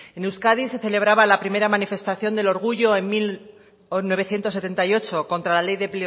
en euskadi se celebraba la primera manifestación del orgullo en mil novecientos setenta y ocho contra la ley de